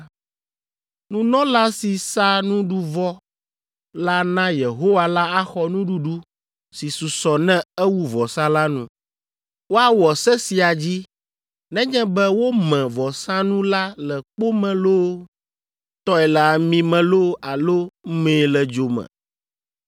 Nunɔla si sa nuɖuvɔ la na Yehowa la axɔ nuɖuɖu si susɔ ne ewu vɔsa la nu. Woawɔ se sia dzi nenye be wome vɔsanu la le kpo me loo, tɔe le ami me loo alo mee le dzo me.